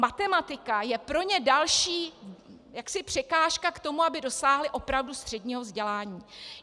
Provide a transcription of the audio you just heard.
Matematika je pro ně další překážka k tomu, aby dosáhli opravdu středního vzdělání.